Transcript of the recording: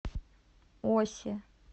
осе